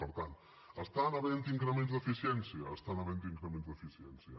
per tant estan havent hi increments d’eficiència estan havent hi increments d’eficiència